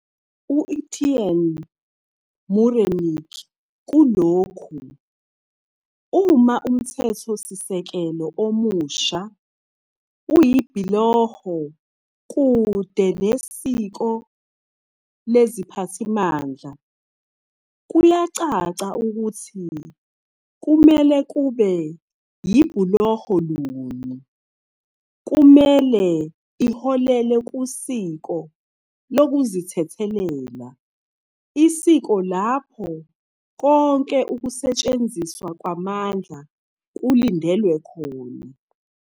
U-Etienne Mureinik kulokhu- "Uma uMthethosisekelo omusha uyibhuloho kude nesiko leziphathimandla, kuyacaca ukuthi kumele kube yibhuloho luni. Kumele iholele kusiko lokuzithethelela-isiko lapho konke ukusetshenziswa kwamandla kulindelwe khona [...